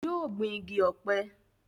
yóò gbin igi ọ̀pẹ